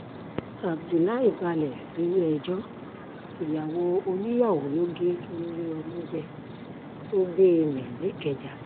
abdullahi balẹ̀ sílẹ̀-ẹjọ́ ìyàwó oníyàwó ló gé lórí ọmú jẹ́ tó gbé e mì nìkẹ́jà